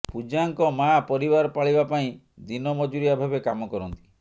ପୂଜାଙ୍କ ମା ପରିବାର ପାଳିବା ପାଇଁ ଦିନ ମଜୁରିଆ ଭାବେ କାମ କରନ୍ତି